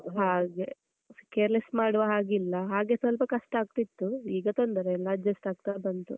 ಹಾಗೆ careless ಮಾಡುವ ಹಾಗಿಲ್ಲ ಹಾಗೆ ಸ್ವಲ್ಪ ಕಷ್ಟ ಆಗ್ತಿತ್ತು, ಈಗ ತೊಂದರೆ ಇಲ್ಲ adjust ಆಗ್ತಾ ಬಂತು.